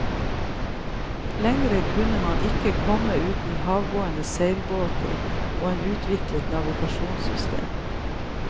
Lengre kunne man ikke komme uten havgående seilbåter og et utviklet navigasjonssystem.